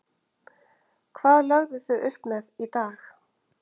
Hvað lögðuð þið upp með í dag?